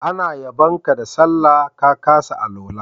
Ana yabon ka sallah, ka kasa alwala.